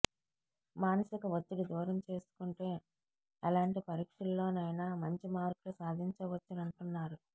మానసిక ఒత్తిడి దూరం చేసుకుంటే ఎలాంటి పరీక్షల్లోనైన మంచి మార్కులు సాధించవచ్చంటున్నారు